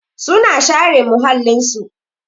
Su na share muhallin su.